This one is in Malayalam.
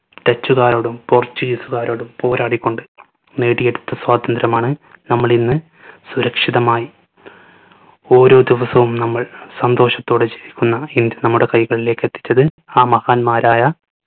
dutch കാരോടും portuguese കാരോടും പോരാടിക്കൊണ്ട് നേടിയെടുത്ത സ്വാതന്ത്യ്രമാണ് നമ്മൾ ഇന്ന് സുരക്ഷിതമായി ഓരോ ദിവസവും നമ്മൾ സന്തോഷത്തോടെ ജീവിക്കുന്ന ഇന്ത്യ നമ്മളുടെ കൈകളിലേക്ക് എത്തിച്ചത് ആ മഹാന്മാരായ